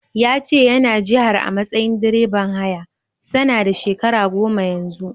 Ya ce yana jihar a matsayin direban haya, sana da shekara goma Yanzu.